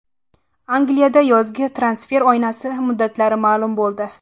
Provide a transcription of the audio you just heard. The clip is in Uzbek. Angliyada yozgi transfer oynasi muddatlari ma’lum bo‘ldi.